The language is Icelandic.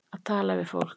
Að tala við fólk